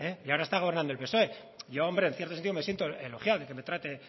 y ahora está gobernando el psoe yo hombre en cierto sentido me siento elogiado que me trate